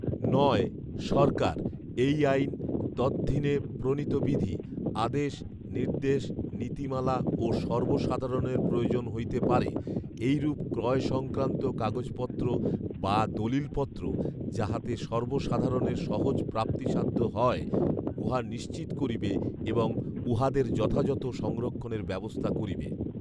নয়, সরকার, এই আইন, তদধীনে প্রণীত বিধি, আদেশ, নির্দেশ, নীতিমালা ও সর্বসাধারণের প্রয়োজন হইতে পারে এইরূপ ক্রয় সংক্রান্ত কাগজপত্র বা দলিলপত্র যাহাতে সর্বসাধারণের সহজ প্রাপ্তিসাধ্য হয় উহা নিশ্চিত করিবে এবং উহাদের যথাযথ সংরক্ষণের ব্যবস্থা করিবে৷